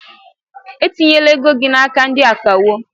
Etinyela ego gị n'aka ndị akawo!